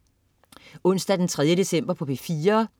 Onsdag den 3. december - P4: